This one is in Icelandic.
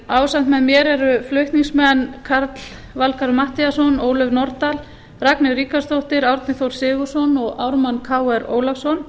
ásamt með mér eru flutningsmenn karl valgarð matthíasson ólöf nordal ragnheiður ríkharðsdóttir árni þór sigurðsson og ármann krónu ólafsson